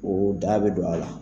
O da bɛ don a la